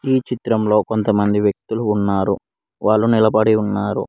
ఈ చిత్రంలో కొంత మంది వ్యక్తులు ఉన్నారు వారు నిలబడి ఉన్నారు.